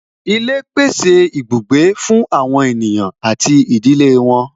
Ilé pèsè ibùgbé fún àwọn ènìyàn àti ìdílé wọn